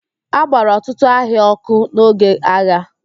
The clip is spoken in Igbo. A gbara ọtụtụ ahịa ọ́kụ́ n'oge agha.